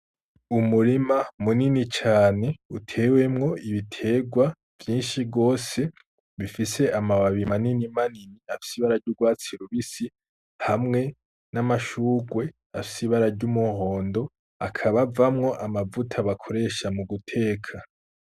Umurima munini cane utewemwo ibiterwa vyinshi gose bifise amababi manini manini afise ibara ry'urwatsi rubisi, hamwe n'amashurwe afise ibara ry'umuhondo akaba avamwo amavuta bakoresha mu guteka.